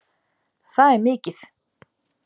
Það er mikið.